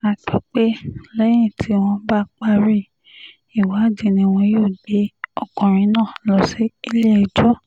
a gbọ́ pé lẹ́yìn tí wọ́n bá parí ìwádìí ni wọn yóò gbé ọkùnrin náà lọ sílé-ẹjọ́